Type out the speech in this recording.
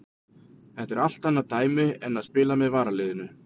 Þetta er allt annað dæmi en að spila með varaliðinu.